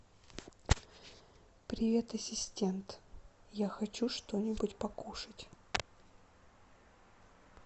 привет ассистент я хочу что нибудь покушать